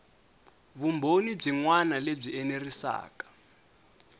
vumbhoni byin wana lebyi enerisaku